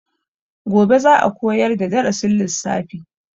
Gobe za a koyar da darasin lissafi.